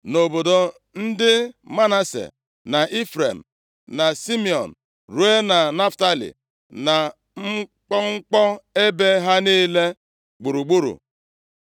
Nʼobodo ndị Manase, na Ifrem na Simiọn, ruo na Naftalị, na mkpọmkpọ ebe ha niile gburugburu.